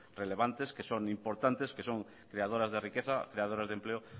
relevantes que son importantes que son creadoras de riqueza creadoras de empleo